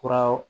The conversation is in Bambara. Kura